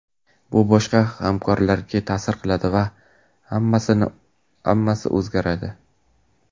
Bu boshqa hamkorlarga ta’sir qiladi va hammasi o‘zgaradi.